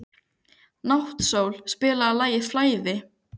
Náttsól, spilaðu lagið „Flæði“.